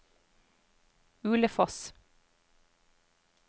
Ulefoss